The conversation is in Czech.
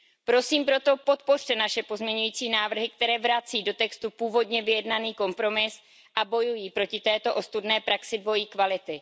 Prosím proto, podpořte naše pozměňovací návrhy, které vrací do textu původně vyjednaný kompromis a bojují proti této ostudné praxi dvojí kvality.